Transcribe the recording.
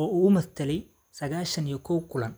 oo uu matalay sagashan iyo koow kulan.